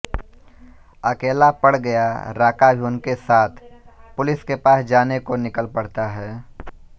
अकेला पड़ गया राका भी उनके साथ पुलिस के पास जाने को निकल पड़ता है